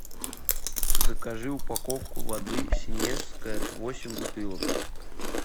закажи упаковку воды синевская восемь бутылок